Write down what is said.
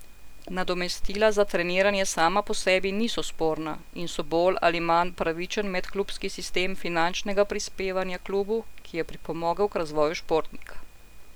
Nadomestila za treniranje sama po sebi niso sporna in so bolj ali manj pravičen medklubski sistem finančnega prispevanja klubu, ki je pripomogel k razvoju športnika.